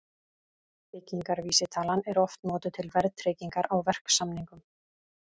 Byggingarvísitalan er oft notuð til verðtryggingar á verksamningum.